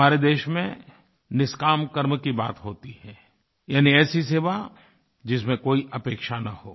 हमारे देश में निष्काम कर्म की बात होती है यानी ऐसी सेवा जिसमें कोई अपेक्षा न हो